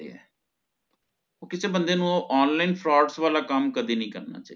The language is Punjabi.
ਕਿਸੇ ਬੰਦੇ ਨੂ online frauds ਵਾਲਾ ਕੰਮ ਕਦੇ ਨਹੀਂ ਕਰਨਾ ਚਾਹੀਦਾ ਕਾਮ ਨੀ ਕਰਨਾ ਚਾਹਿਦਾ